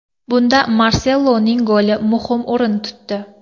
Bunda Marseloning goli muhim o‘rin tutdi.